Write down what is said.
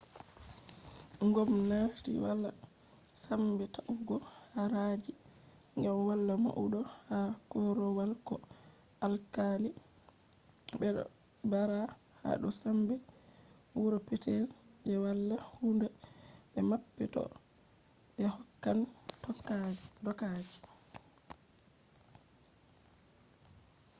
ngomnaati wala sambe ta’ugo haraaji gam wala maudo ha korowal ko alkali bedo baara hado sambe wuro petel je wala huuda be mappe to be hokkan dokaji